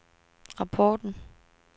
rapporten